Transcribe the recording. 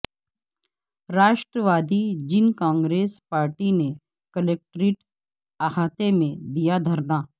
راشٹر وادی Jan Congress party نے collectorate احاطہ میں دیادھرنا